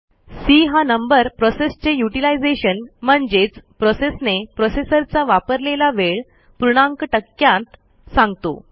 C हा number प्रोसेसचे utilisation म्हणजेच प्रोसेसने प्रोसेसरचा वापरलेला वेळ पूर्णांक टक्क्यांत सांगतो